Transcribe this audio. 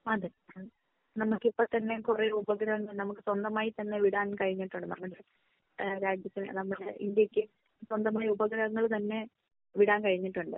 അതെ നമുക്ക് ഇപ്പൊ തന്നെ കുറേ ഉപഗ്രഹങ്ങൾ നമുക്ക് സ്വന്തമായി തന്നെ വിടാൻ കഴിഞ്ഞിട്ടുണ്ട്. ഏഹ് അതായത് നമ്മുടെ ഇന്ത്യക്ക് സ്വന്തമായി ഉപഗ്രഹങ്ങൾ തന്നെ വിടാൻ കഴിഞ്ഞിട്ടുണ്ട്.